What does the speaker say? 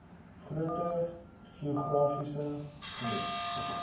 groter geografiese gebiede